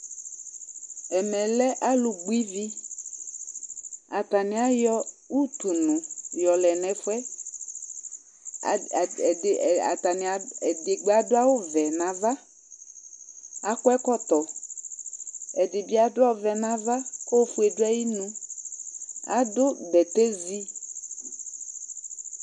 Ɛmɛ lɛ alʋ gbɔ ivi, atanɩ ayɔ utunu yɔ lɛ nʋ ɛfʋɛ; edigbo adʋ awʋ vɛ nava, akɔ ɛkɔtɔ, ɛdɩ bɩ adʋ ɔvɛ nava kʋ ofue dʋ ayinu adʋ bɛtɛ zi